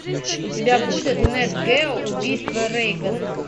у тебя будет нэт гео убийство рейгана